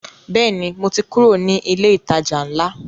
Bẹ́ẹ̀ni, mo ti kúrò ní ilé ìtajà ńlá